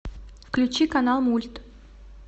включи канал мульт